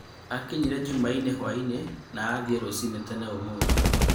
Akinyire Jumaine hũainĩ na athiĩ rũcinĩ tene ũmũthĩ.